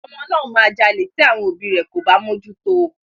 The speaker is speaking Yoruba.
Ọmọ náà máa jalè tí àwọn òbíi rẹ̀ kò bá mójú tó o.